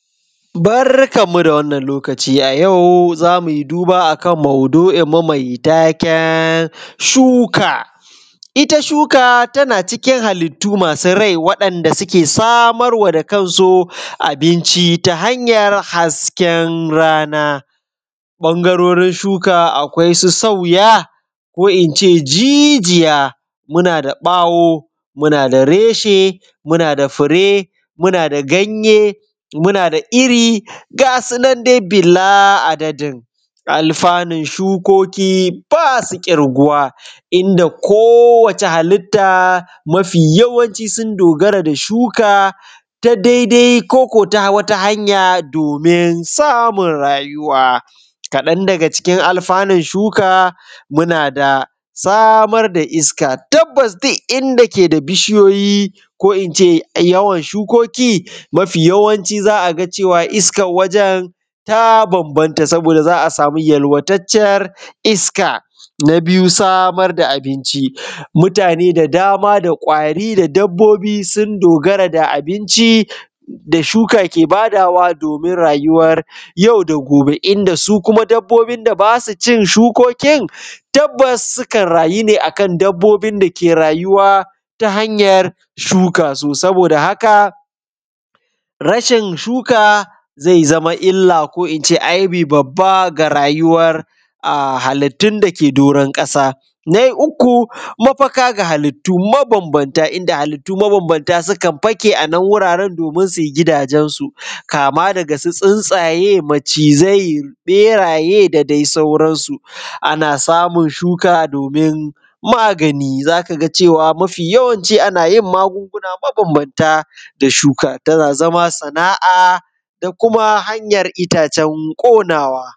Barkanmu da wannan lokaci a yau zamui duba akan maudu’inmu mai taken shuka. Ita shuka tana cikin hallitu masu rai wadanda suke samarwa da kansu abinci ta hanyar hasken rana, ɓangarorin shuka akwai su sauya, ko ince jijiya, muna da ɓawo, muna da reshe, muna da fure, muna da ganye, muna da irin, gasu nan dai bala’adadin. Alfannun shukoki basu ƙirguwa inda kowace hallita mafi yawanci sun dogara da shuka ta daidai koko ta wata hanya domin samun rayuwa. Kan daga cikin alfanun shuka muna da samar da iska, tabbas duk inda keda bishiyoyi ko ince yawan shukeki mafi yawanci za a ga cewa iskar wajen ta bambamta, saboda za a samu yalwataccer iska. Na biyu samar da abinci, mutane da dama da ƙwari da dabbobi sun dogara da abinci da shuka ke badawa domin rayuwar yau da gobe, inda su kuma dabbobin da basu cin shukokin tabbas sukan rayu ne akan dabbobin da ke rayuwa ta hanyar shuka. So saboda haka, rashin shuka zai zamo illa ko ince aibi babba ga rayuwar halitun dake doron ƙasa. Na uku mafaka ga halittu mabambamta inda halitu suka fake anan wuraren domin su gidajensu, kama daga tsuntsaye, macizai, ɓeraye da dai sauransu. Ana samun shuka domin magani, zaka ga cewa mafi yawanci ana maguna mabambamta da shuka, tana zama sana’a da kuma hanyar itace ƙonawa.